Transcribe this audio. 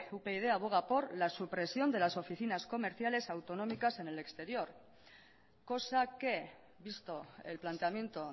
upyd aboga por la supresión de las oficinas comerciales autonómicas en el exterior cosa que visto el planteamiento